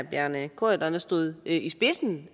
bjarne corydon stod i spidsen